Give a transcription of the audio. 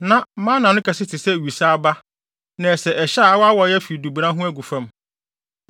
Na mana no kɛse te sɛ wusa aba na ɛsɛ ɛhyɛ a awaawae afi dubona ho agu fam.